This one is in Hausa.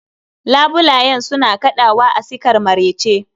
labulayen suna kadawa a sikar marece